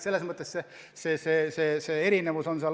Selline erinevus on.